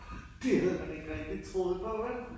Det havde man ikke rigtig troet på vel